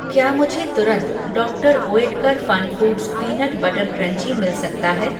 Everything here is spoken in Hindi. क्या मुझे तुरंत doctor Oetker FunFoods peanut butter crunchy मिल सकता है?